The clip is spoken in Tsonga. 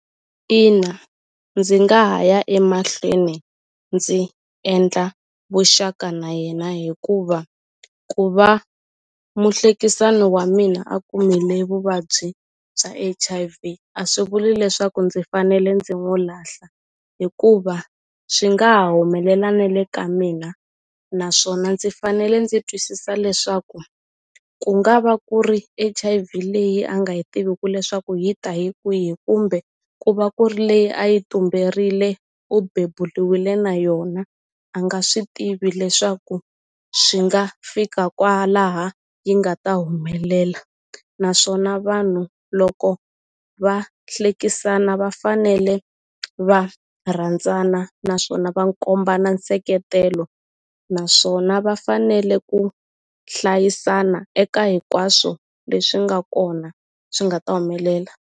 Ina ndzi nga ha ya emahlweni ndzi endla vuxaka na yena hikuva ku va muhlekisani wa mina a kumile vuvabyi bya H_I_V a swi vuli leswaku ndzi fanele ndzi n'wu lahla hikuva swi nga ha humelela nele ka mina naswona ndzi fanele ndzi twisisa leswaku ku nga va ku ri H_I_V leyi a nga yi tiviku leswaku yi ta hi kwihi kumbe ku va ku ri leyi a yi tumberile u bebuliwile na yona a nga swi tivi leswaku swi nga fika kwalaha yi nga ta humelela naswona vanhu loko va hlekisana va fanele va rhandzana naswona va kombana nseketelo naswona va fanele ku hlayisana eka hinkwaswo leswi nga kona swi nga ta humelela.